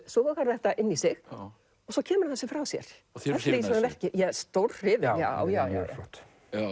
sogar þetta inn í sig og svo kemur hann þessu frá sér þið eruð hrifin já já mjög flott